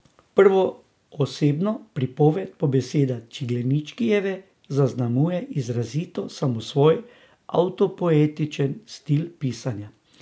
Prvoosebno pripoved po besedah Ciglenečkijeve zaznamuje izrazito samosvoj, avtopoetičen stil pisanja.